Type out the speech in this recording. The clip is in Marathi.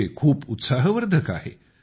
हे खूप उत्साहवर्धक आहे